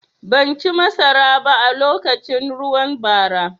Ban ci masaraba a lokacin ruwan bara.